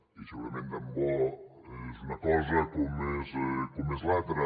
i segurament tan bona és una cosa com és l’altra